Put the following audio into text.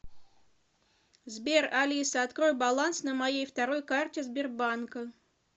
сбер алиса открой баланс на моей второй карте сбербанка